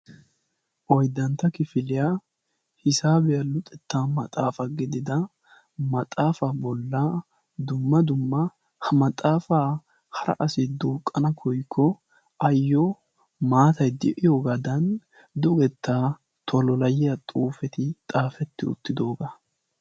Oyddantta kifiiyaa hisaabiya luxetta maxaafa gidida maxaafa bollaa dumma dumma ha maxaafa hara asay duuqana koykko ayyo maatay de'iyoogadan dugettaa tololayiya xuufeti xaafeti uttidooga.